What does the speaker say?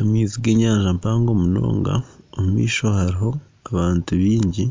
Amaizi g'enyanja mpango munonga omu maisho hariho abantu baingi